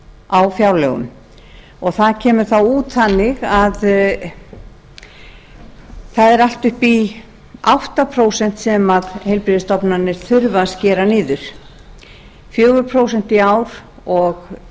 á fjárlögum og það kemur þá út þannig að það er allt upp í átta prósent sem heilbrigðisstofnanir þurfa að skera niður fjögur prósent í ár og